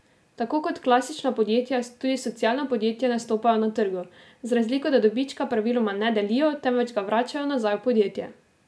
Tako kot klasična podjetja tudi socialna podjetja nastopajo na trgu, z razliko, da dobička praviloma ne delijo, temveč ga vračajo nazaj v podjetje.